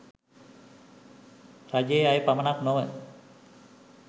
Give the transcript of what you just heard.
රජයේ අය පමණක් නොව